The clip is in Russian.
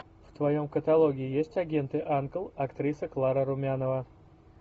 в твоем каталоге есть агенты анкл актриса клара румянова